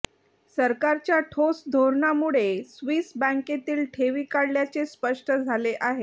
सरकारच्या ठोस धोरणांमुळे स्वीस बँकेतील ठेवी काढल्याचे स्पष्ट झाले आहे